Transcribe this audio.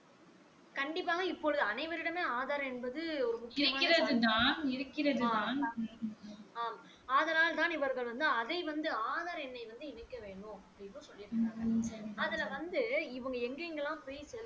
கண்டிப்பாக இப்பொழுது அனைவரிடமும் ஆதார் என்பது ஒரு முக்கியமான ஆம் ஆதலால் தான் இவர்கள் வந்து அதை வந்து ஆதார் எண்ணை வந்து இணைக்க வேண்ணும் அப்டின்னு சொல்லி இருக்கறாங்க அதுல வந்து இவங்க எங்க எங்கலாம் போய் செலுத்